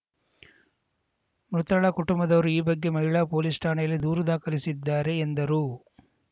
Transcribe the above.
ಮೃತಳ ಕುಟುಂಬದವರು ಈ ಬಗ್ಗೆ ಮಹಿಳಾ ಪೊಲೀಸ್‌ ಠಾಣೆಯಲ್ಲಿ ದೂರು ದಾಖಲಿಸಿದ್ದಾರೆ ಎಂದರು